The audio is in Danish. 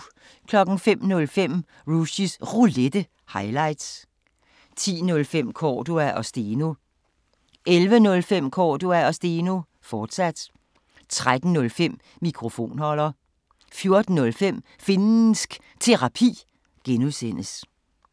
05:05: Rushys Roulette – highlights 10:05: Cordua & Steno 11:05: Cordua & Steno, fortsat 13:05: Mikrofonholder 14:05: Finnsk Terapi (G)